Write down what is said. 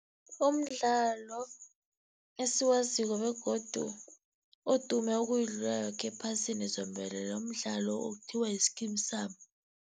Umdlalo esiwaziko begodu odume ukuyidlula yoke ephasini zombelele, mdlalo okuthiwa yi-Skeem saam.